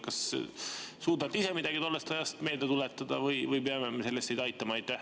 Kas suudate ise tollest ajast midagi meelde tuletada või peame me selles teid aitama?